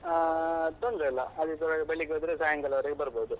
ಆಹ್ ತೊಂದ್ರೆ ಇಲ್ಲ, ಆದಿತ್ಯವಾರ ಬೆಳಿಗ್ಗೆ ಹೋದ್ರೆ ಸಾಯಂಕಾಲ ವರ್ಗೆ ಬರ್ಬೋದು.